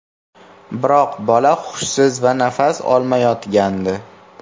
Biroq bola hushsiz va nafas olmayotgandi.